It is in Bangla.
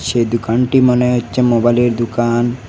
এ দুকানটি মনে হচ্চে মোবালের দুকান।